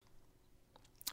DR1